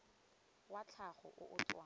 wa tlhago o o tswang